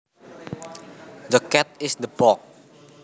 The cat is in the box